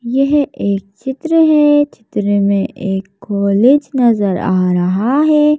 यह एक चित्र है चित्र में एक कॉलेज नजर आ रहा है।